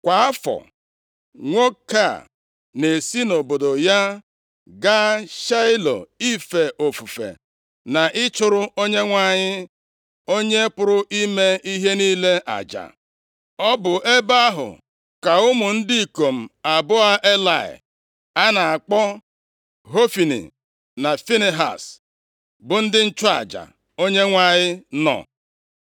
Kwa afọ, nwoke a na-esi nʼobodo ya gaa Shaịlo ife ofufe na ịchụrụ Onyenwe anyị, Onye pụrụ ime ihe niile aja. Ọ bụ nʼebe ahụ ka ụmụ ndị ikom abụọ Elayị a na-akpọ Hofni na Finehaz, bụ ndị nchụaja Onyenwe anyị nọ. + 1:3 Onye Izrel ọbụla kwesiri ịga nʼihu Onyenwe anyị maka ife ofufe, ugboro atọ kwa afọ. \+xt Dit 16:16-17; Ọpụ 23:14-19\+xt* Ebe ụlọ nzute na igbe ọgbụgba ndụ ahụ dị, bụ ihe dịka iri kilomita atọ nʼebe ugwu ugwu Jerusalem. \+xt 1Sa 3:3; Jos 18:1\+xt*